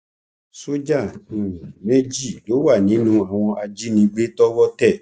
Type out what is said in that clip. sójà um méjì ló wà nínú àwọn ajínigbé tọwọ tẹ